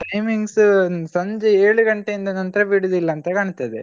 Timings ಸಂಜೆ ಏಳು ಗಂಟೆಯಿಂದ ನಂತರ ಬಿಡುದಿಲ್ಲಾ ಅಂತ ಕಾಣ್ತದೆ.